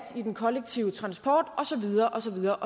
den kollektive transport og så videre og så videre